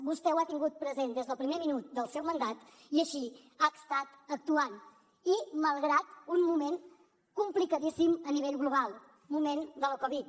vostè ho ha tingut present des del primer minut del seu mandat i així ha estat actuant i malgrat un moment complicadíssim a nivell global moment de la covid dinou